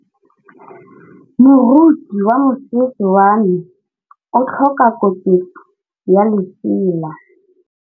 Moroki wa mosese wa me o tlhoka koketsô ya lesela.